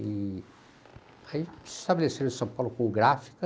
E aí se estabeleceram em São Paulo com gráfica,